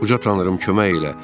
Uca tanrım kömək elə!